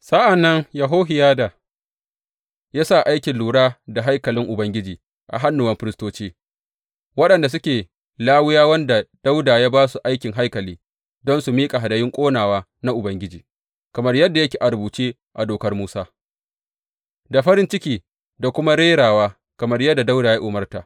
Sa’an nan Yehohiyada ya sa aikin lura da haikalin Ubangiji a hannuwan firistoci, waɗanda suke Lawiyawan da Dawuda ya ba su aikin haikali don su miƙa hadayun ƙonawa na Ubangiji kamar yadda yake a rubuce a Dokar Musa, da farin ciki da kuma rerawa, kamar yadda Dawuda ya umarta.